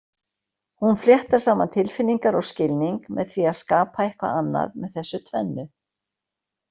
Hún fléttar saman tilfinningar og skilning með því að skapa eitthvað annað með þessu tvennu.